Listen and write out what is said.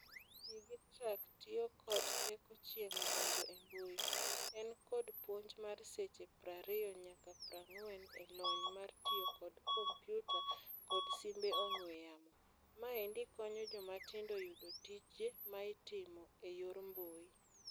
DigiTruck tio kod teko chieng' donjo e mbui. En kod puonj mar seche prario nyaka prang'wen e lony mar tio kod kompyuta kod simbe ong'we yamo. Maendi konyo jomatindo yudo tije maitimo e yor mbui.